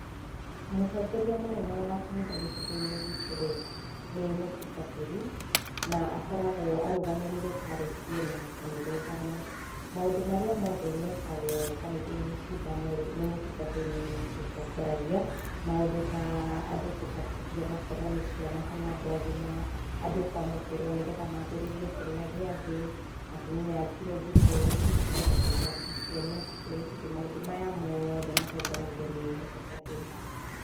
Mũtongoria mũnene wa kanitha gĩcigo-inĩ gitũ-rĩ, nĩ mũtungatĩri na akoragwo arũgamĩrĩire parish ĩna kanitha ithano. Maũndũ marĩa mothe mekagwo kanitha-inĩ ici ithano-rĩ, nĩ mũtungatĩri ũtongoragia, maũndũ ta andũ gũbatithio ona akorwo nĩ ciana kana andũ agima, andũ kwamũkĩrwo nĩgetha manjĩrĩrie kũrĩa gĩathĩ, atumia a ngirũndi kwĩhitithio, athuri a PCNF kwĩhĩtithio. Maũndũ maya mothe matongoragio nĩ mũtungatĩri.